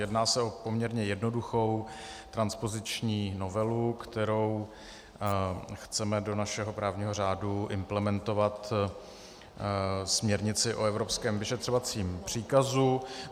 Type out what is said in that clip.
Jedná se o poměrně jednoduchou transpoziční novelu, kterou chceme do našeho právního řádu implementovat směrnici o evropském vyšetřovacím příkazu.